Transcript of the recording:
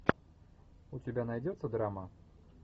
у тебя найдется драма